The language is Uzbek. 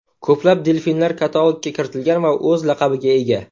Ko‘plab delfinlar katalogga kiritilgan va o‘z laqabiga ega.